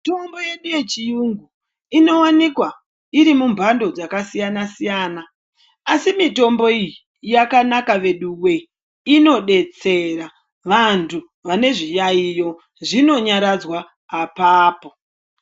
Mitombo yedu yechiyungu inowanikwa iri mumbando dzakasiyana siyana asi mitombo iyi yakanaka veduwee inodetsera vantu vane zviyaiyo zvinonyaradzwa apapo.